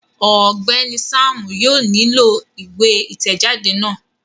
Ọgbẹni Sam yóò nilo iwe itẹjade náà